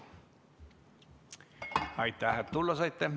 Aitäh, et tulla saite!